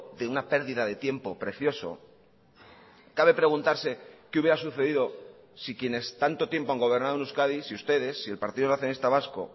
de una perdida de tiempo precioso cabe preguntarse qué hubiera sucedido si quienes tanto tiempo han gobernado en euskadi si ustedes si el partido nacionalista vasco